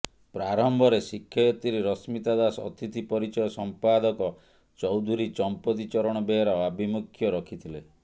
ପ୍ରାରମ୍ଭରେ ଶିକ୍ଷୟିତ୍ରି ରଶ୍ମିତା ଦାସ ଅତିଥି ପରିଚୟ ସମ୍ପାଦକ ଚୌଧୁରୀ ଚମ୍ପତି ଚରଣ ବେହେରା ଆଭିମୁଖ୍ୟ ରଖିଥିଲେ